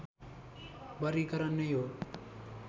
वर्गीकरण नै हो